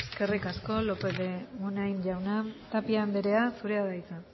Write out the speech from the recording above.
eskerrik asko lópez de muniain jauna tapia andrea zurea da hitza